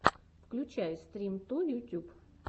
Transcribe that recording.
включай стримто ютюб